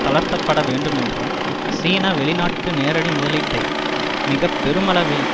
தளர்த்தப்பட வேண்டுமென்றும் சீனா வெளிநாட்டு நேரடி முதலீட்டை மிக பெருமளவில்